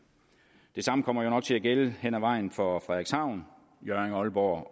det samme kommer jo nok til at gælde hen ad vejen for frederikshavn hjørring aalborg og